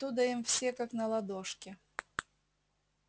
оттуда им все как на ладошке